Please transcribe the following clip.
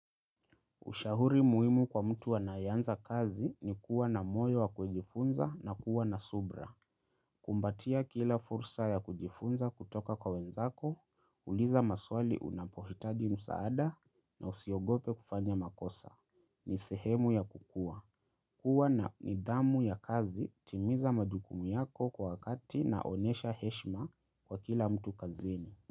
Ushahuri muhimu kwa mtu anayeanza kazi ni kuwa na moyo wa kujifunza na kuwa na subra. Kumbatia kila fursa ya kujifunza kutoka kwa wenzako, uliza maswali unapohitaji msaada na usiogope kufanya makosa. Ni sehemu ya kukua. Kua na nidhamu ya kazi timiza majukumi yako kwa wakati na onesha heshima kwa kila mtu kazini.